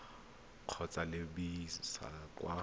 go ka lebisa kwa go